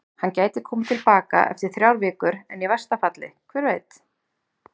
Hann gæti komið til baka eftir þrjár vikur en í versta falli, hver veit?